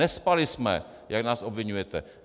Nespali jsme, jak nás obviňujete.